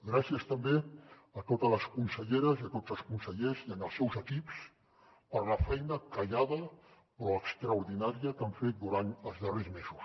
gràcies també a totes les conselleres i a tots els consellers i els seus equips per la feina callada però extraordinària que han fet durant els darrers mesos